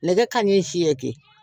Nɛgɛ kanɲɛ seegin